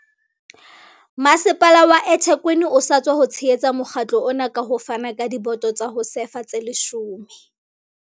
Masepala wa eThekwini o sa tswa tshehetsa mokga tlo ona ka ho fana ka diboto tsa ho sefa tse 10.